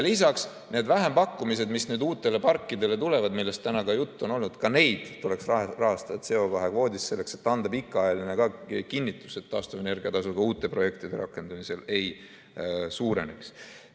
Lisaks, neid vähempakkumisi, mis uutele parkidele tulevad, millest täna ka juttu on olnud, tuleks rahastada CO2 kvoodist, selleks et anda pikaajaline kinnitus, et taastuvenergia tasu ka uute projektide rakendamisel ei suureneks.